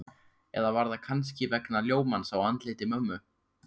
Eða var það kannski vegna ljómans á andliti mömmu?